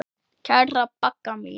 Kæra Bagga mín.